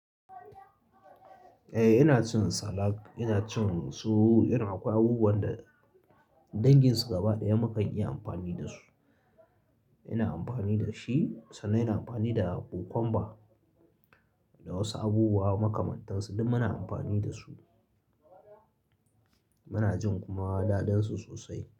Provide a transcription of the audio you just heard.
Eh ina son salad, ina cin su, irin akwai abubuwan da danginsu gaba ɗaya mukan iya amfani da su. Ina amfani da shi sannan ina amfani da kokwamba, da wasu abubuwa makamantansu duk muna amfani da su. Muna jin kuma daɗinsu sosai.